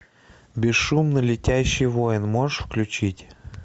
бесшумно летящий воин можешь включить